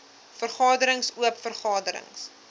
vergaderings oop vergaderings